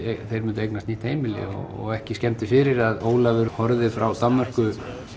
þeir myndu eignast nýtt heimili og ekki skemmdi fyrir að Ólafur horfði frá Danmörku